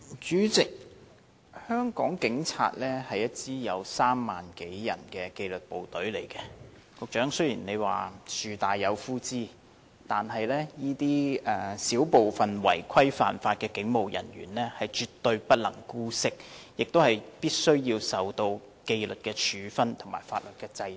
主席，香港警隊是一支有3萬多人的紀律部隊，雖然局長說樹大有枯枝，但我們絕不能姑息這少部分違規犯法的警務人員，他們必須受到紀律處分和法律制裁。